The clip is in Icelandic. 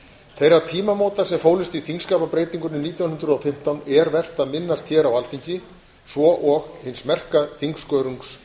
þeirra tímamóta sem fólust í þingskapabreytingunni nítján hundruð og fimmtán er vert að minnast hér á alþingi svo og hins merka þingskörungs